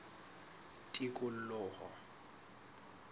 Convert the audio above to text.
tikoloho